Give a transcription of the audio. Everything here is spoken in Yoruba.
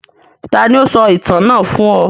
Taàní ó sọ ìtàn náà fún ọ?